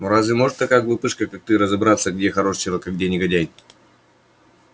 ну разве может такая глупышка как ты разобраться где хороший человек а где негодяй